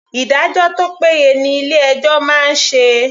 Ìdájọ́ tó péye ni ilé ẹjọ́ máa ń ṣe.